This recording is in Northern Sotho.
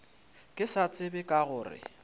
ke sa tsebe ka gore